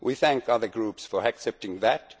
We thank the other groups for accepting that.